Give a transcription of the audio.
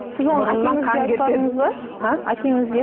сіз оны әкеңізге айтпадыңыз ба а әкеңізге